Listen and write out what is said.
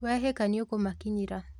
Wehĩka nĩũkũmakinyĩra